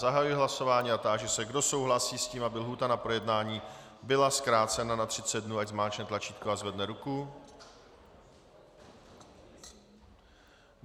Zahajuji hlasování a táži se, kdo souhlasí s tím, aby lhůta na projednání byla zkrácena na 30 dnů, ať zmáčkne tlačítko a zvedne ruku.